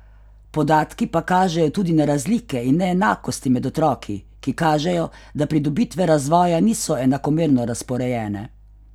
Podatki pa kažejo tudi na razlike in neenakosti med otroki, ki kažejo, da pridobitve razvoja niso enakomerno razporejene.